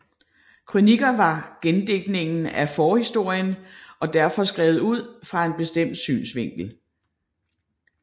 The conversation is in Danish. Krøniker var gendigtninger af forhistorien og derfor skrevet ud fra en bestemt synsvinkel